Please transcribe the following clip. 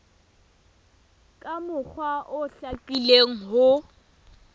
ka mokgwa o hlakileng ho